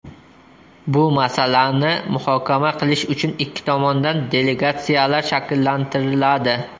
Bu masalani muhokama qilish uchun ikki tomondan delegatsiyalar shakllantiriladi.